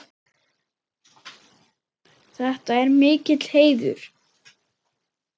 Þetta er mikill heiður.